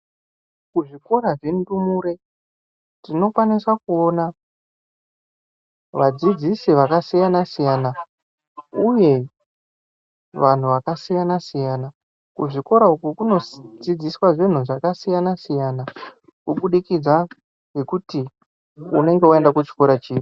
Kuzvikora zvendumure tinokwanisa kuona vadzidzisi vakasiyana-siyana, uye vantu vakasiyana-siyana. Kuzvikora uku kunodzidziswa zvinhu zvakasiyana-siyana. Kubudikidza ngekuti unonga vaenda kuchikora chipi.